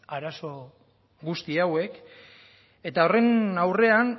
arazo guzti hauek eta horren aurrean